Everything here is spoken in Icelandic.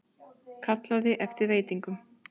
Kallaði eftir veitingum.